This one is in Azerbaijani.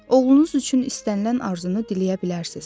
Oğlunuz üçün istənilən arzunu diləyə bilərsiz.